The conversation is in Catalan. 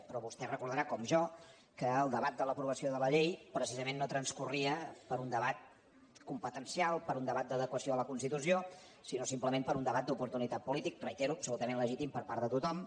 però vostè deu recordar com jo que el debat de l’aprovació de la llei precisament no transcorria per un debat competencial per un debat d’adequació a la constitució sinó simplement per un debat d’oportunitat política ho reitero absolutament legítim per part de tothom